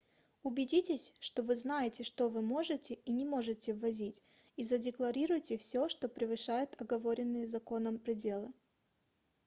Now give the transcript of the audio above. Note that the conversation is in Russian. убедитесь что вы знаете что вы можете и не можете ввозить и задекларируйте всё что превышает оговоренные законом пределы